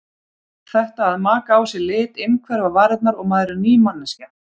Þetta að maka á sig lit, innhverfa varirnar og maður er ný manneskja.